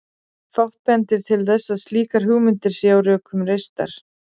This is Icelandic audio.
Fátt bendir til þess að slíkar hugmyndir séu á rökum reistar.